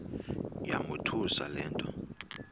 yamothusa le nto